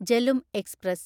Jhelum express